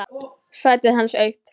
Sætið hans autt.